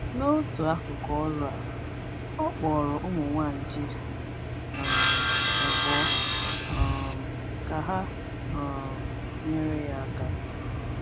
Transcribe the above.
N’otu akụkụ ọrụ a, ọ kpọrọ ụmụ nwanyị Gypsy um abụọ um ka ha um nyere ya aka.